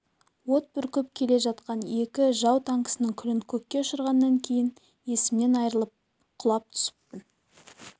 от бүркіп келе жатқан екі жау танкісінің күлін көкке ұшырғаннан кейін есімнен айырылып құлап түсіппін